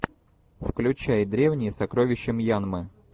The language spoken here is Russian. включай древние сокровища мьянмы